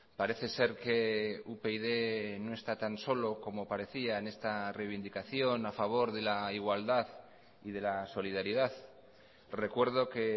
parece ser que upyd no está tan solo como parecía en esta reivindicación a favor de la igualdad y de la solidaridad recuerdo que